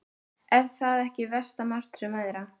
Er það ekki versta martröð mæðra?